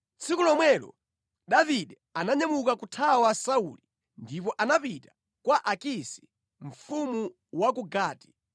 Tsiku lomwelo Davide ananyamuka kuthawa Sauli ndipo anapita kwa Akisi, mfumu wa ku Gati.